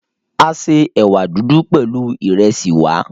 A se ẹ̀wà dúdú pẹ̀lú ìresì wa.